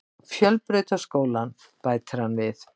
Fjölbrautaskólann, bætir hann við.